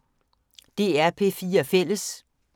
DR P4 Fælles